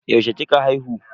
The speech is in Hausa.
Yaushe kika haihu?